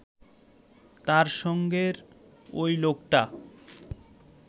তার সঙ্গের ঐ লোকটা